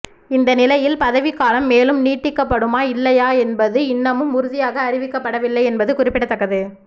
இந்தநிலையில் பதவிக் காலம் மேலும் நீடிக்கப்படுமா இல்லையா என்பது இன்னமும் உறுதியாக அறிவிக்கப்படவில்லை என்பது குறிப்பிடத்தக்கது